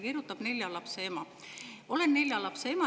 Kirjutab nelja lapse ema: "Olen nelja lapse ema.